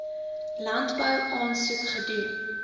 landbou aansoek gedoen